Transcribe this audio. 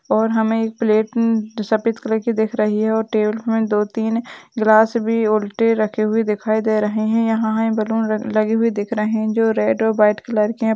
और हमें एक प्लेट उम जो सफ़ेद कलर की दिख रही है और टेबुल में दो तीन ग्लास भी उलटे रखे हुए दिखाई दे रहें हैं यहाँ हमें बैलून लगे हुए दिख रहें हैं जो रेड और व्हाइट कलर के हैं।